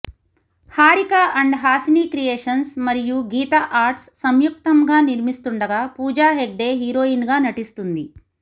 Harika and Hassine creations మరియు Geetha arts సంయుక్తంగా నిర్మిస్తుండగా పూజా హెగ్డే హీరోయిన్ గా నటిస్తుంది